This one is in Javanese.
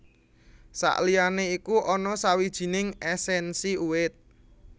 Saliyané iku ana sawijining èsènsi uwit